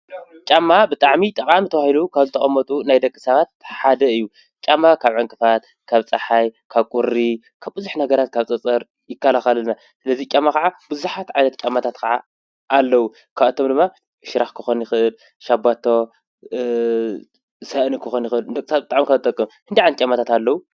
ጫማ ብጣዕሚ ጠቃሚ ተባሂሉ ካብ ዝተቐመጡ ናይ ደቂ ሰባት ሓደ እዩ፡፡ ጫማ ካብ ዕንቅፋት፣ ካብ ፀሓይ፣ ካብ ቁሪ ካብ ብዙሕ ነገር ካብ ፀፀር ይካላኸለልና፡፡ ስለዚ ጫማ ከዓ ብዙሓት ጫማታት ከዓ ኣለው፡፡ ካብኣቶም ድማ ሽራኽ ክኾን ይኽእል፣ ሸባቶ፣ ሳእኒ ክኾን ይኽእል፣ ንደቂ ሰባት ብጣዕሚ ካብ ዝጥቀሙ። ክንደይ ዓይነት ጫማታት ኣለው?